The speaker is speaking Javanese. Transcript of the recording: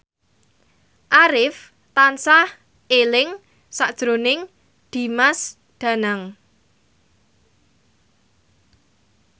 Arif tansah eling sakjroning Dimas Danang